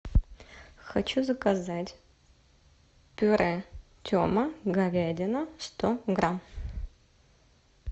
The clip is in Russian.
хочу заказать пюре тема говядина сто грамм